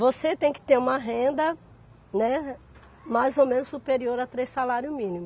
Você tem que ter uma renda, né, mais ou menos superior a três salários mínimo.